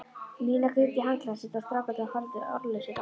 Nína grét í handklæðið sitt og strákarnir horfðu ráðalausir á.